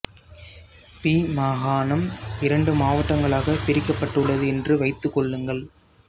B மாகாணம் இரண்டு மாவட்டங்களாகப் பிரிக்கப்பட்டுள்ளது என்று வைத்துக் கொள்ளுங்கள்